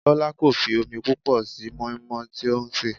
Bọlá kò fi omi púpọ̀ sí moi moi tí ó ń sè.